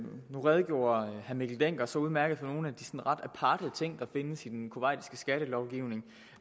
nu redegjorde herre mikkel dencker så udmærket for nogle af de ret aparte ting der findes i den kuwaitiske skattelovgivning